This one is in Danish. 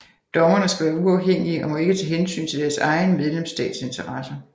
Dommerne skal være uafhængige og må ikke tage hensyn til deres egen medlemsstats interesser